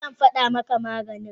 e, zan fada maka maganin.